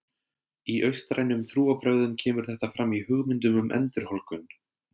Í austrænum trúarbrögðum kemur þetta fram í hugmyndunum um endurholdgun.